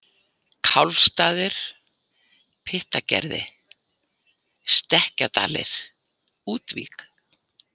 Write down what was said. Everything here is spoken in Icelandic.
Kálfsstaðir, Pyttagerði, Stekkjadalir, Útvík